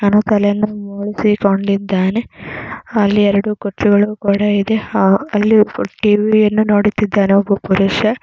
ಅವನ ತಲೆಯನ್ನು ಬೋಳಿ ಸಿಕೊಂಡಿದ್ದಾನೆನಿಂತುಕೊಂಡಿದ್ದಾನೆಅಲ್ಲಿ ಎರಡು ಕುರ್ಚಿ ಕೂಡ ಇದೆ . ಅಲ್ಲಿ ಎರಡು ಅಲ್ಲಿ ಟಿ_ವಿ ಯನ್ನು ನೋಡುತಿದ್ದಾರೆ.ಒಬ್ಬ ಪುರುಷ .